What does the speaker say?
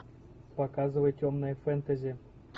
показывай темное фэнтези